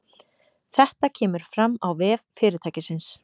Þetta kemur fram á vef fyrirtækisins